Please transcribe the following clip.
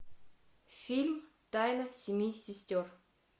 фильм тайна семи сестер